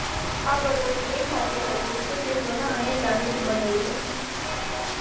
આ બોટલની એ ખાસિયત હતી કે તે સોના અને ચાંદીથી બનેલી હતી